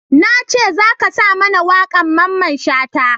Na ce za ka sa mana wakan Mamman Shata!